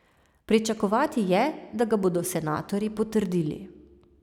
Pričakovati je, da ga bodo senatorji potrdili.